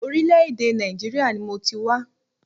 Orílẹ̀-èdè Nàìjíríà ni mọ ti wá.